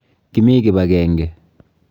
Kimi kibagenge.